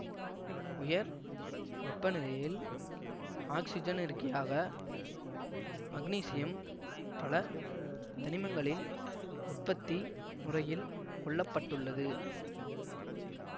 உயர் வெப்ப நிலையில் ஆக்சிஜனிறக்கியாக மக்னீசியம் பல தனிமங்களின் உற்பத்தி முறையில் கொள்ள பட்டுள்ளது